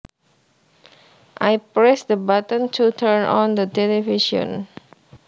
I pressed the button to turn on the television